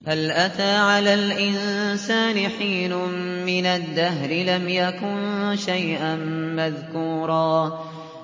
هَلْ أَتَىٰ عَلَى الْإِنسَانِ حِينٌ مِّنَ الدَّهْرِ لَمْ يَكُن شَيْئًا مَّذْكُورًا